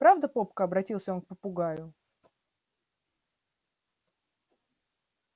правда попка обратился он к попугаю